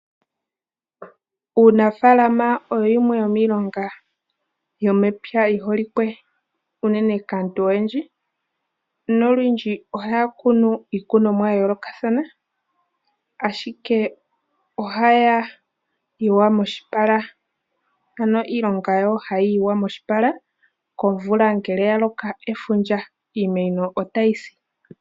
Uunafalama oyo yimwe yomiilonga yomepya yi holike unene kaantu oyendji nolundji ohaya kunu iikunomwa ya yoolokathana ashike ohaya yiwa moshipala ano iilonga yayo hayi yiwa moshipala komvula ngele ya loko efundja, iimeno otayi si.